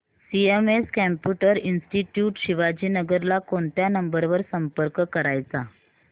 CMS computer institute Shivajinagar ला कोणत्या number वर संपर्क करायचा